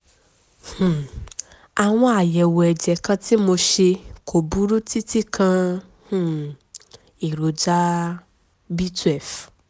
um àwọn àyẹ̀wò ẹ̀jẹ̀ kan tí mo ṣe kò burú títí kan um èròjà b twelve